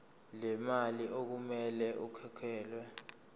lemali okumele ikhokhelwe